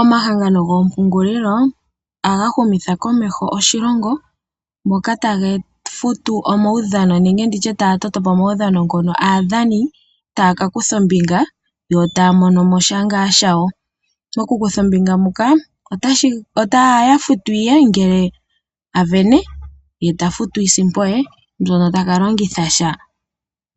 Omahangano goompungulilo ohaga humitha komeho oshilongo mpoka taga futu omaudhano, nenge nditye taya toto po omaudhano ngono aadhani taya ka kutha ombinga yo taya mono mo sha ngaa shawo. Okukutha ombinga muka otaya futwa ngele a sindana, ye tafutwa iisimpo ye mbyoka mbyono taka longitha sha